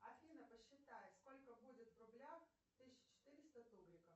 афина посчитац сколько будет в рублях тысяча четыреста тугриков